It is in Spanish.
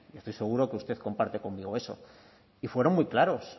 estoy seguro que usted comparte conmigo eso y fueron muy claros